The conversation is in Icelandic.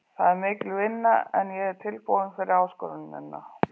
Það er mikil vinna en ég er tilbúinn fyrir áskorunina.